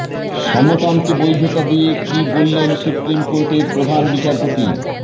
সমকামকে বৈধতা দিয়ে কী বললেন সুপ্রিম কোর্টের প্রধান বিচারপতি